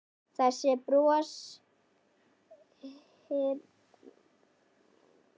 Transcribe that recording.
Þessi broshýri og stimamjúki og á allan hátt elskulegi maður!